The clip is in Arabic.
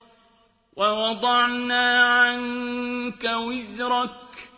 وَوَضَعْنَا عَنكَ وِزْرَكَ